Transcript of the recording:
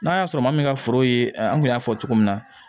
N'a y'a sɔrɔ maa min ka foro ye an kun y'a fɔ cogo min na